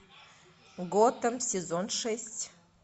готэм сезон шесть